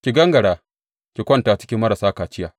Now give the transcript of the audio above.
Ki gangara, ki kwanta cikin marasa kaciya.’